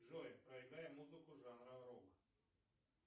джой проиграй музыку жанра рок